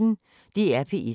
DR P1